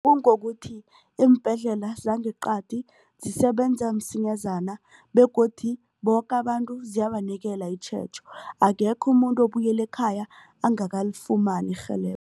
Kungokuthi iimbhedlela zangeqadi zisebenza msinyazana begodu boke abantu ziyabanikela itjhejo akekho umuntu obuyele ekhaya angakalifumani